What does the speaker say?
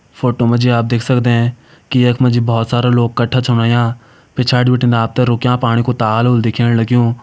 Photo मा जी आप देख सकदें की यख मा जी भोत सारा लोग कठा छन हुयां पिछाड़ी बटिन आप थें रूक्यां पाणी को ताल होल दिखेण लग्युं।